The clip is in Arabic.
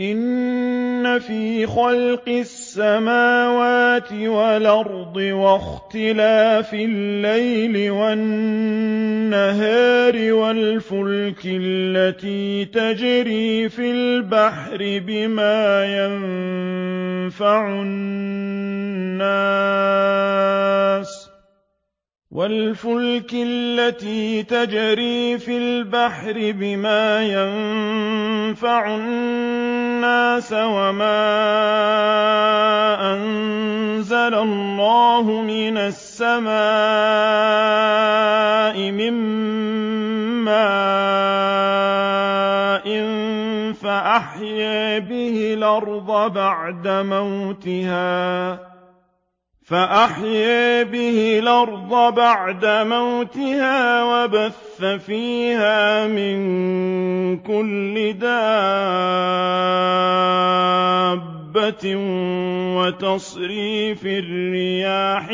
إِنَّ فِي خَلْقِ السَّمَاوَاتِ وَالْأَرْضِ وَاخْتِلَافِ اللَّيْلِ وَالنَّهَارِ وَالْفُلْكِ الَّتِي تَجْرِي فِي الْبَحْرِ بِمَا يَنفَعُ النَّاسَ وَمَا أَنزَلَ اللَّهُ مِنَ السَّمَاءِ مِن مَّاءٍ فَأَحْيَا بِهِ الْأَرْضَ بَعْدَ مَوْتِهَا وَبَثَّ فِيهَا مِن كُلِّ دَابَّةٍ وَتَصْرِيفِ الرِّيَاحِ